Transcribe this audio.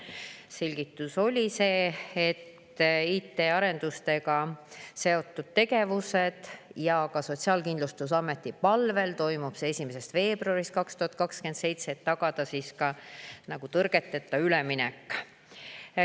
Selgitus oli see, et IT-arendusega seotud tegevuste tõttu ja ka Sotsiaalkindlustusameti palvel toimub see 1. veebruaril 2027, et tagada tõrgeteta üleminek.